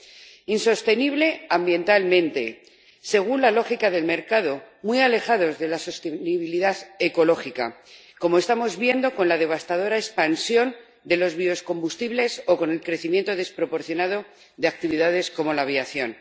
Es insostenible ambientalmente, según la lógica del mercado, muy alejado de la sostenibilidad ecológica, como estamos viendo con la devastadora expansión de los biocombustibles o con el crecimiento desproporcionado de actividades como la aviación.